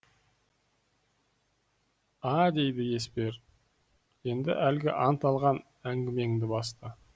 а дейді еспер енді әлгі ант алған әңгімеңді баста